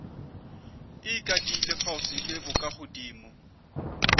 e ikadile kgauswi le bokagodimo